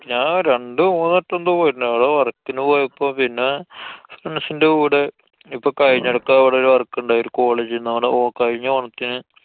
ഞാന്‍ രണ്ടു മൂന്നു വട്ടെന്തോ പോയിട്ടുണ്ട്. അവടെ work ന് പോയപ്പൊ. പിന്നെ friends ന്‍റെ കൂടെ. ഇപ്പൊ കഴിഞ്ഞെടക്ക് അവടെ ഒരു work ണ്ടായി. ഒരു college ന്നവടെ. ഓ~ കഴിഞ്ഞ ഓണത്തിന്